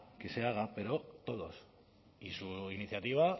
que se haga pero todos y su iniciativa